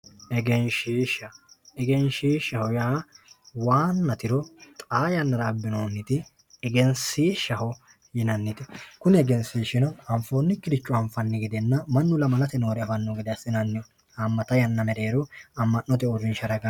Egeshisha egeshishaho ya wana tiro xa yanara abinoniti egesishaho yinaniti kuni egesishino afonikire anifanni gede manu lamalate nore afano gede asinaniho hamata yana merero amanote urinsha ragani